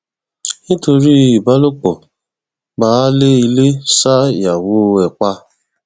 nítorí ìbálòpọ baálé ilé ṣa ìyàwó ẹ pa